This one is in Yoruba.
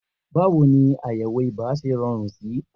Báwo ni àyẹ̀wò ibà ṣe rọrùn sí?